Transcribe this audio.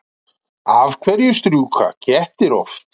Af hverju strjúka kettir oft?